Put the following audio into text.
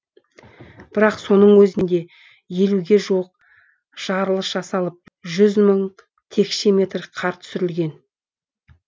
бірақ соның өзінде елуге жуық жарылыс жасалып жүз мың текше метр қар түсірілген